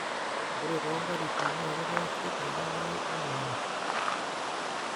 ore too nkatitin naa kitaasi eeying'are emonyua